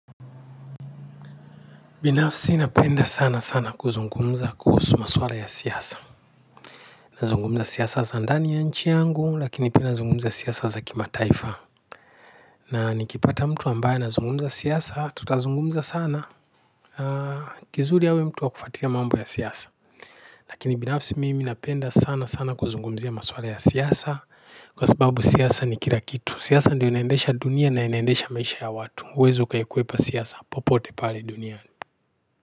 Binafsi napenda sana sana kuzungumza kuhusu maswala ya siasa. Nazungumza siasa za ndani ya nchi yangu lakini pia nazungumza siasa za kimataifa na nikipata mtu ambaye anazungumza siasa tutazungumza sana na. Kizuri awe mtu wa kufuatilia mambo ya siasa lakini binafsi mimi napenda sana sana kuzungumzia maswala ya siasa kwa sababu siasa ni kila kitu siasa ndiyo inaendesha dunia na inaendesha maisha ya watu huwezi ukaikwepa siasa popote pale duniani.